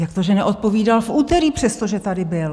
Jak to, že neodpovídal v úterý, přestože tady byl?